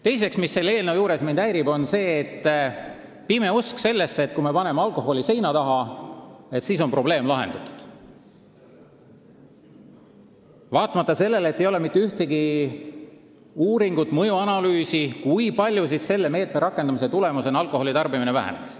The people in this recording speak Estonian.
Teiseks häirib mind selle eelnõu juures pime usk, et kui me paneme alkoholi seina taha, siis on probleem lahendatud, vaatamata sellele, et ei ole mitte ühtegi uurimust ega mõjuanalüüsi, kui palju selle meetme tulemusena alkoholitarbimine väheneks.